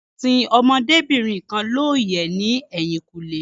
Wón sin ọmọdébìnrin kan looyẹ ní ẹ̀yìnkùlé